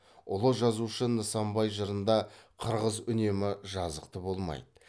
ұлы жазушы нысанбай жырында қырғыз үнемі жазықты болмайды